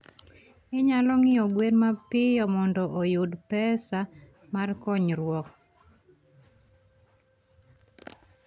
Inyalo ng'iewo gwen mapiyo mondo oyud pesa mar konyruok.